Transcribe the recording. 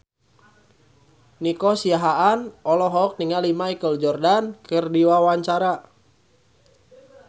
Nico Siahaan olohok ningali Michael Jordan keur diwawancara